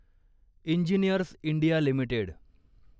engineers India limited